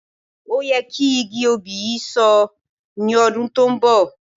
Ó yẹ kí igi òbí yìí So ní ọdún tó ń bọ̀